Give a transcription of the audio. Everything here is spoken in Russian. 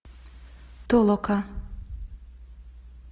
толока